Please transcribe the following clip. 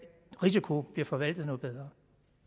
risiko bliver forvaltet noget bedre